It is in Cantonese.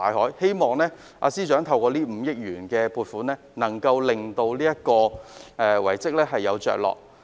我希望這5億元的撥款可令這項遺蹟有着落。